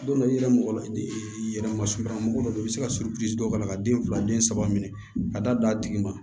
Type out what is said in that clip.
Don dɔ la i yɛrɛ mɔgɔ la e yɛrɛ masurunna mɔgɔ dɔ bɛ yen i bɛ se ka surusi dɔw k'a la ka den fila den saba minɛ ka taa don a tigi ma